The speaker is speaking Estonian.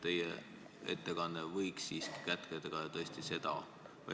Teie ettekanne võinuks kätkeda ka seda.